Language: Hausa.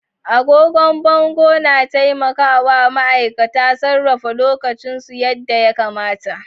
Agogon bango na taimaka wa ma'aikata sarrafa lokacinsu yadda ya kamata.